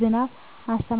ዝናብ አስተማማኝነትም በእጅጉ ቀንሷል። 3)የመዝራት ወቅት መለዋወጥ: የገበሬዎች ግራ መጋባት፣ የሰብል ለውጥ